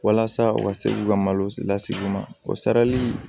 Walasa u ka se k'u ka malo lasigi u ma o sarali